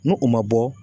Nu u ma bɔ